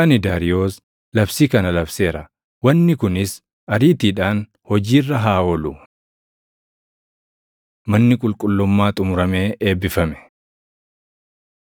Ani Daariyoos labsii kana labseera. Wanni kunis ariitiidhaan hojii irra haa oolu. Manni Qulqullummaa Xumuramee Eebbifame